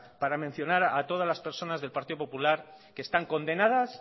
para mencionar a todas las personas del partido popular que están condenadas